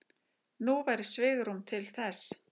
Nú væri svigrúm til þess.